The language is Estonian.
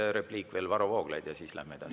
Üks repliik veel, Varro Vooglaid, ja siis läheme edasi.